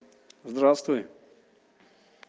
здравствуй